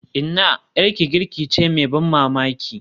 Inna, 'yarki girki ce mai ban mamaki.